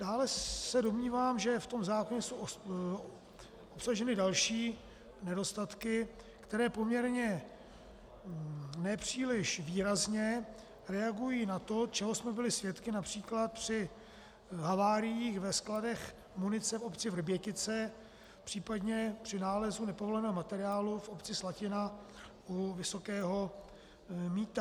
Dále se domnívám, že v tom zákoně jsou obsaženy další nedostatky, které poměrně nepříliš výrazně reagují na to, čeho jsme byli svědky například při haváriích ve skladech munice v obci Vrbětice, případně při nálezu nepovoleného materiálu v obci Slatina u Vysokého Mýta.